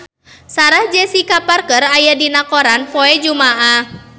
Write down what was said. Sarah Jessica Parker aya dina koran poe Jumaah